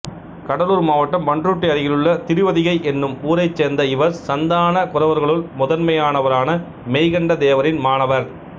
கடலூர் மாவட்டம் பண்ருட்டி அருகிலுள்ள திருவதிகை என்னும் ஊரைச் சேர்ந்த இவர் சந்தான குரவர்களுள் முதன்மையானவரான மெய்கண்ட தேவரின் மாணவர்